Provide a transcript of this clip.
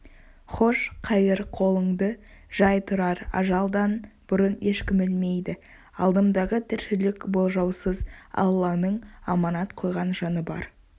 хош-қайыр қолыңды жай тұрар ажалдан бұрын ешкім өлмейді алдымдағы тіршілік болжаусыз алланың аманат қойған жаны бар